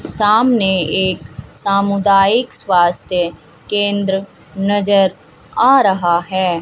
सामने एक सामुदायिक स्वास्थ्य केंद्र नजर आ रहा है।